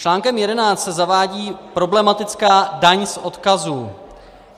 Článkem 11 se zavádí problematická daň z odkazů.